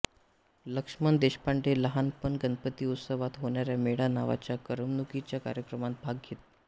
लक्षमण देशपांडे लहानप गणपती उत्सवात होणाऱ्या मेळा नावाच्या करमणुकीच्या कार्यक्रमांत भाग घेत